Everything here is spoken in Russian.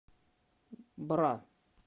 бра